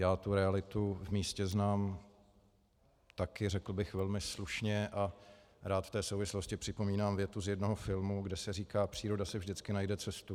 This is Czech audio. Já tu realitu v místě znám taky, řekl bych, velmi slušně a rád v té souvislosti připomínám větu z jednoho filmu, kde se říká: příroda si vždycky najde cestu.